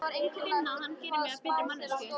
Finn að hann gerir mig að betri manneskju.